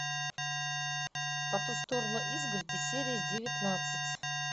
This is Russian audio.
по ту сторону изгороди серия девятнадцать